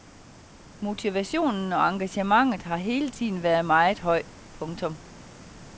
Motivationen og engagementet har hele tiden været meget høj. punktum